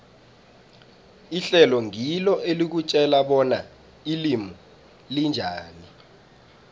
ihlelo ngilo elikutjela bona ilimi linjani